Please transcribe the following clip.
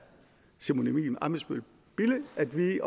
simon emil ammitzbøll bille at vi